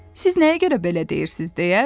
Siz nəyə görə belə deyirsiz?